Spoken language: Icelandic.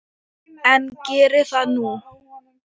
En geri það nú.